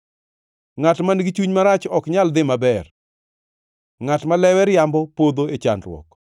Ngʼat man-gi chuny marach ok nyal dhi maber; ngʼat ma lewe riambo podho e chandruok.